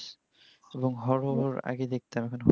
এবং horror আগে দেখতাম